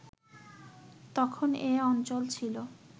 তখন এ অঞ্চল ছিল